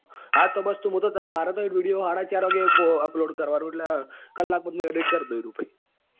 હા તો બસ તો મારે તો એક video સાડાચાર વાગે upload કરવા નો છે એટલે કલાક માં તો હું edit કરી દઈ એરયું પહી.